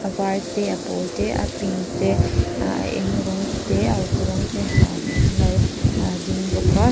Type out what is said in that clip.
var te a pawl te a pink te ahh a eng rawng te a uk rawng te ha hi ahh an lo ding bawk a.